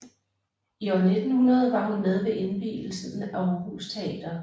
I 1900 var hun med ved indvielsen af Aarhus Teater